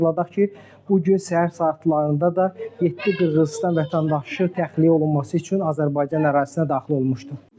Xatırladaq ki, bu gün səhər saatlarında da yeddi Qırğızıstan vətəndaşı təxliyə olunması üçün Azərbaycan ərazisinə daxil olmuşdu.